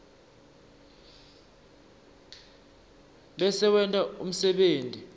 bese wenta umsebenti